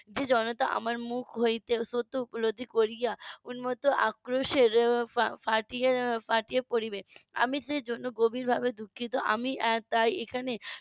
যে জনতা আমার মুখ হইতে সত্য উপলব্ধি করিয়া ওর মতো আক্রোশে ফাটিয়া পড়িবে আমি সেজন্য গভীরভাবে দুঃখিত আমি আর তাই এখানে